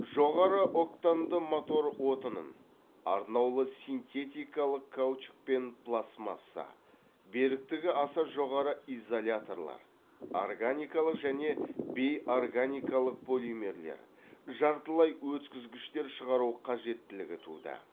жоғары октанды мотор отынын арнаулы синтетикалық каучук пен пластмасса беріктігі аса жоғары изоляторлар органикалық және бейорганикалық полимерлер жартылай өткізгіштер шығару қажеттілігі туды